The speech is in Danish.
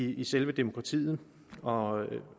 i selve demokratiet og